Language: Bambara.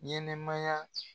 Ɲɛnɛmaya